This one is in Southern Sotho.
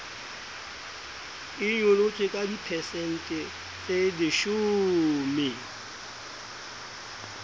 e nyolotswe ka diphesente tseleshome